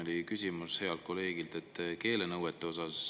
Siin oli küsimus healt kolleegilt keelenõuete kohta.